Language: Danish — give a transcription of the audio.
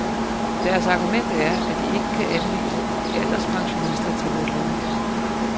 Deres argument er, at de ikke kan anvise alderspensionister til vores boliger.